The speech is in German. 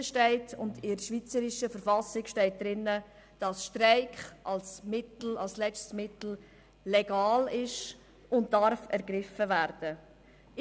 In der Verfassung der Schweizerischen Eidgenossenschaft (Bundesverfassung, BV) steht, dass Streik als letztes Mittel legal ist und ergriffen werden darf.